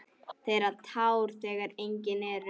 Þerrar tár þegar engin eru.